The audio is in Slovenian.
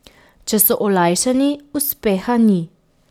Če so olajšani, uspeha ni.